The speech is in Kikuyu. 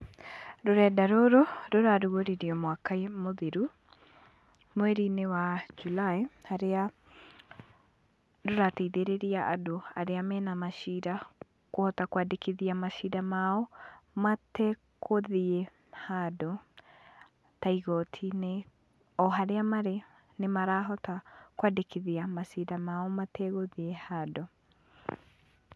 Rũrenda rũrũ rũrarugũririo mwaka mũthiru, mweri-inĩ wa July, haria rũrateithĩrĩria andũ arĩa mena macira, kũhota kwandĩkithia macira mao mategũthiĩ handũ ta igoti-inĩ. O haria marĩ, nĩmarahota kwandĩkithia macira mao mategũthiĩ handũ.